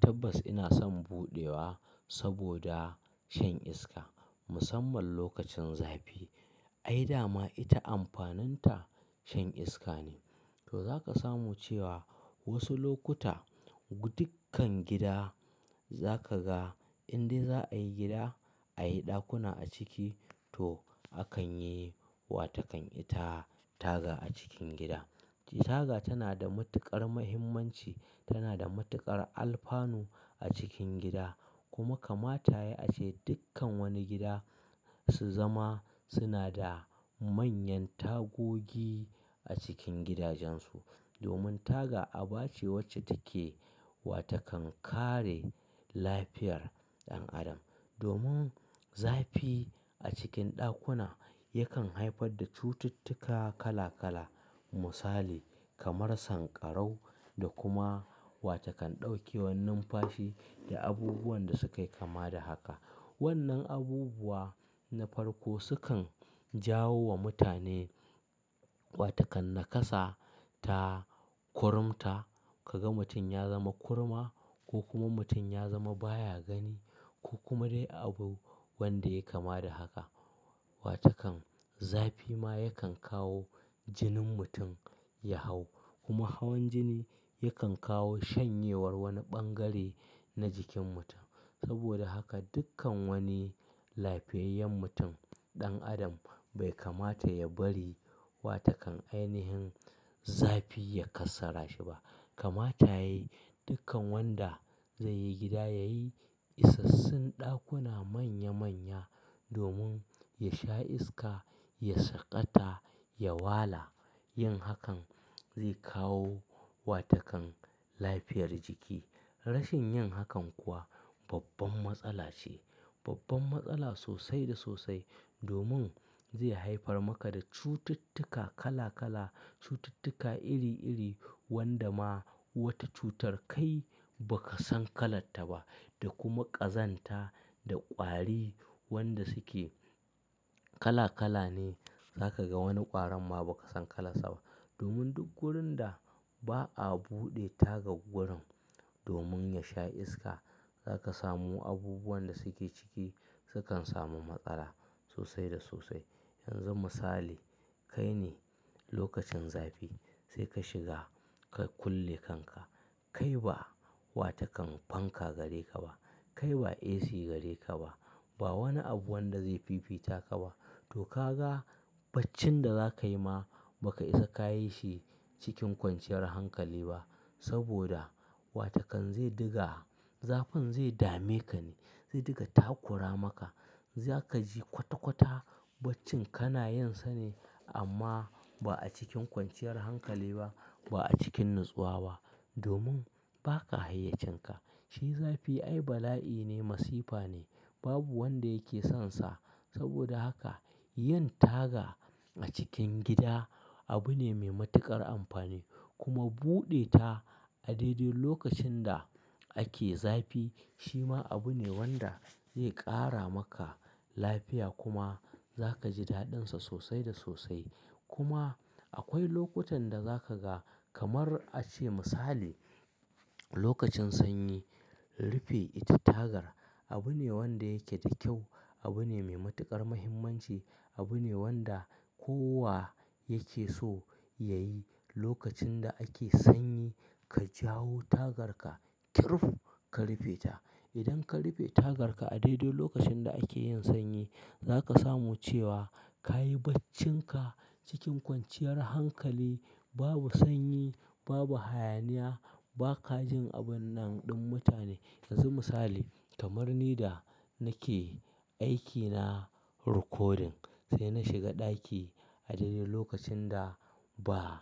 Tabbas ina son buɗewa saboda shan iska musamman lokacin zafi. Ai dama ita amfaninta shan iska ne. To za ka samu cewa wasu lokuta dukkan gida za ka ga in dai za a yi gida, a yi ɗakuna a ciki to akan yi wa takan ita taga a cikin gida. Taga tana da matuƙar muhimmanci, tana da matuƙar alfanu a cikin gida kuma kamata yayi a ce dukkan wani gida su zama suna da manyan tagogi a cikin gidajensu. Domin taga a bace wacce take wa takan kare lafiyar ɗan adam. Domin zafi a cikin ɗakuna yakan haifar da cututtuka kala kala. Misali kamar sankarau da kuma wa takan ɗauke wan numfashi da abubuwan da suke kama da haka. Wannan abubuwa na farko sukan jawo wa mutane wa takan nakasa ta kurumta. Ka ga mutum ya zama kurma ko kuma mutum ya zama baya gani ko kuma dai abu wanda yai kama da haka. Wa takan zafi ma yakan kawo jinin mutum ya hau kuma hawan jini yakan kawo shanyewar wani ɓangare na jikin mutum. Saboda haka dukkan wani lafiyayyen mutum, ɗan adam bai kamata ya bari wa takan ainihin zafi ya kassara shi ba. Kamata yayi dukkan wanda zai yi gida yayi isassun ɗakuna manya manya domin ya sha iska, ya sakata, ya wala. Yin hakan zai kawo wa takan lafiyar jiki. Rashin yin hakan kuwa babban matsala ce, babban matsala sosai da sosai. Domin zai haifar maka da cututtuka kala kala, cututtuka iri iri wanda ma wata cutar kai ba ka san kalarta ba da kuma ƙazanta da ƙwari wanda suke kala kala ne. Za ka ga wani ƙwarin ma ba ka san kalarsa ba. Domin duk guri da ba a buɗe taga wurin domin ya sha iska, za ka samu abubuwan da suke ciki sukan samu matsala sosai da sosai. Yanzu misali, kai ne lokacin zafi sai ka shiga ka kulle kanka. Kai ba wa takan fanka gare ka ba, kai ba AC gare ka ba, ba wani abu wanda zai fifita ka ba. To ka ga baccin da za ka yi ma ba ka isa ka yi shi cikin kwanciyar hankali ba saboda wa takan zai diga. Zafin zai dame ka ne, zai diga takura maka. Za ka ji kwata kwata baccin ka na yin sane amma ba a cikin kwanciyar hankali ba, ba a cikin natsuwa ba domin ba ka hayya cinka. Shi zafi ai bala'i ne, masifa ne. Babu wanda yake sonsa saboda haka yin taga a cikin gida abu ne mai matuƙar amfani kuma buɗe ta a daidai lokacin da ake zafi shi ma abu ne wanda zai ƙara maka lafiya kuma za ka ji daɗinsa sosai da sosai. Kuma akwai lokutan da za ka ga kamar a ce misali lokacin sanyi, rufe ita tagar abu ne wanda yake da kyau, abu ne mai matuƙar muhimmanci, abu ne wanda kowa yake so ya yi. Lokacin da ake sanyi ka jawo tagarka kiruf ka rufe ta. Idan ka rufe tagarka a daidai lokacin da ake yin sanyi, za ka samu cewa ka yi baccinka cikin kwanciyar hankali. Babu sanyi, babu hayaniya, ba ka jin abin nan ɗin mutane. Yanzu misali kamar ni da nake aikina recording sai na shiga ɗaki a daidai lokacin da ba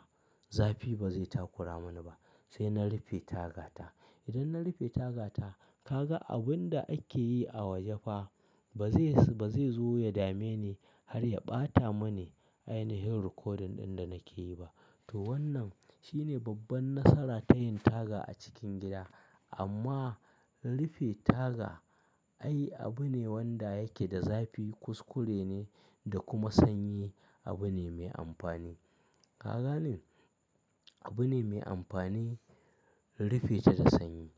zafi ba zai takura mani ba sai na rufe tagata. Idan na rufe tagata ka ga abun da ake yi a waje fa ba zai, ba zai zo ya dame ni har ya ɓata mani ainihin recording ɗin da nake yi ba. To wannan shi ne babban nasara ta yin taga a cikin gida. Amma rufe taga ai abu ne wanda yake da zafi, kuskure ne da kuma sanyi. Abu ne mai amfani. Ka gane? Abu ne mai amfani rufe ta da sanyi.